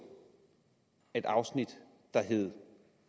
et afsnit der hed